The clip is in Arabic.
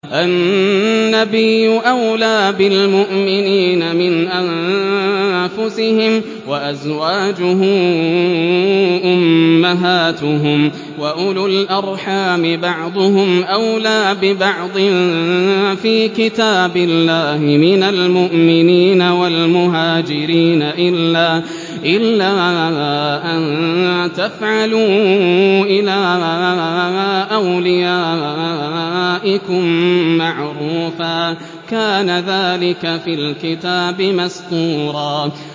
النَّبِيُّ أَوْلَىٰ بِالْمُؤْمِنِينَ مِنْ أَنفُسِهِمْ ۖ وَأَزْوَاجُهُ أُمَّهَاتُهُمْ ۗ وَأُولُو الْأَرْحَامِ بَعْضُهُمْ أَوْلَىٰ بِبَعْضٍ فِي كِتَابِ اللَّهِ مِنَ الْمُؤْمِنِينَ وَالْمُهَاجِرِينَ إِلَّا أَن تَفْعَلُوا إِلَىٰ أَوْلِيَائِكُم مَّعْرُوفًا ۚ كَانَ ذَٰلِكَ فِي الْكِتَابِ مَسْطُورًا